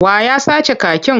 Wa ya sace kakin?